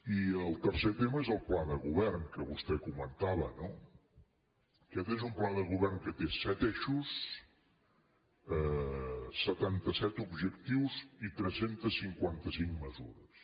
i el tercer tema és el pla de govern que vostè comen·tava no aquest és un pla de govern que té set eixos setanta set objectius i tres cents i cinquanta cinc mesures